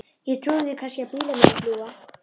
Ég trúi því kannski að bílar muni fljúga.